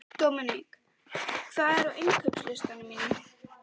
Dominik, hvað er á innkaupalistanum mínum?